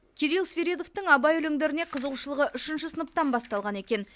кирилл свиридовтың абай өлеңдеріне қызығушылығы үшінші сыныптан басталған екен